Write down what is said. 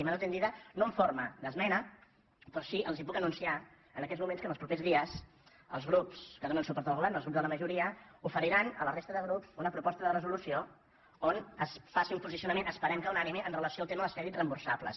mano tendida no en forma d’esmena però sí que els puc anunciar en aquests moments que en els propers dies els grups que donen suport al govern els grups de la majoria ofe riran a la resta de grups una proposta de resolució on es faci un posicionament esperem que unànime amb relació al tema dels crèdits reemborsables